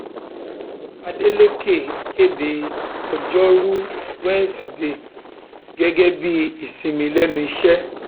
adélèkẹ kéde ọjọrùú wíṣọdẹẹ gẹgẹ bíi ìsinmi lẹnu iṣẹ